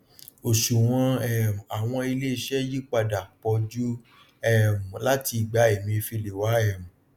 òṣùwòn um àwọn ilé isẹ yí padà pọ jù um láti ìgbà emefiele wá um